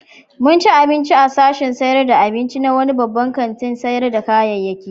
Mun ci abinci a sashin sayar da abinci na wani babban kantin sayar da kayayyaki.